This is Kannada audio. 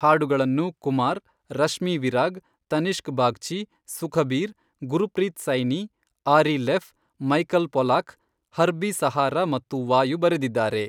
ಹಾಡುಗಳನ್ನು Kumar, Rashmi Virag, Tanishk Bagchi, Sukhbir, Gurpreet Saini, Ari Leff, Michael Pollack, Herbie Sahara ಮತ್ತು ವಾಯು ಬರೆದಿದ್ದಾರೆ.